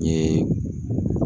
N yee